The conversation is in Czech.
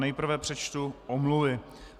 Nejprve přečtu omluvy.